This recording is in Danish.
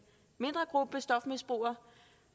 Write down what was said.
mindre gruppe stofmisbrugere